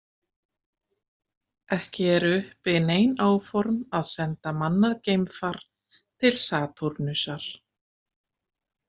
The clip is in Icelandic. Ekki eru uppi nein áform að senda mannað geimfar til Satúrnusar.